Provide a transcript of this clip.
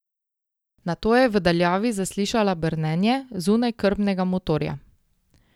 Nato je v daljavi zaslišala brnenje zunajkrmnega motorja.